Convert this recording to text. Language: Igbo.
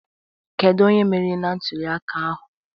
Kedu onye merịrị na ntuli aka ahụ?